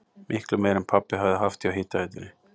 Miklu meira en pabbi hafði haft hjá hitaveitunni!